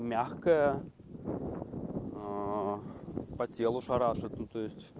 мягкая по телу шарашит ну то есть